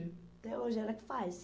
Até hoje ela que faz.